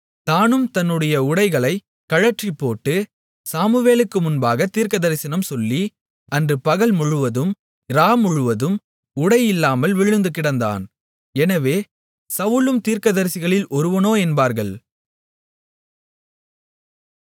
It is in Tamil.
தானும் தன்னுடைய உடைகளை கழற்றிப்போட்டு சாமுவேலுக்கு முன்பாகத் தீர்க்கதரிசனம் சொல்லி அன்று பகல்முழுவதும் இராமுழுவதும் உடை இல்லாமல் விழுந்துகிடந்தான் எனவே சவுலும் தீர்க்கதரிசிகளில் ஒருவனோ என்பார்கள்